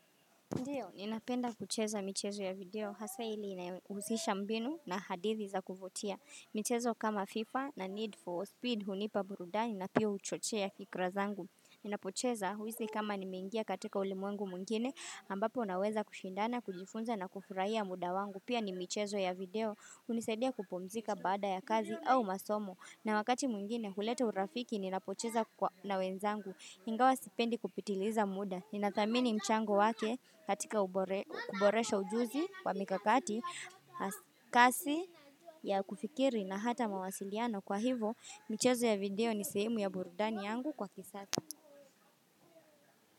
Ndiyo, ninapenda kucheza michezo ya video, hasa ile inayohusisha mbinu na hadithi za kuvutia. Michezo kama FIFA na Need for Speed hunipa burudani na pia huchochea fikra zangu. Ninapocheza huhisi kama nimengia katika ulimwengu mwingine, ambapo naweza kushindana, kujifunza na kufurahia muda wangu. Pia ni michezo ya video, hunisadia kupumzika baada ya kazi au masomo. Na wakati mwingine, huleta urafiki, ninapocheza kwa na wenzangu, ingawa sipendi kupitiliza muda. Ninathamini mchango wake katika kuboresha ujuzi wa mikakati, kasi ya kufikiri na hata mawasiliano kwa hivo, mchezo ya video ni sehemu ya burudani yangu kwa kisasa.